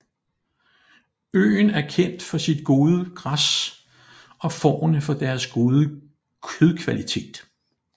Øen er kendt for sit gode græs og fårene for deres gode kødkvalitet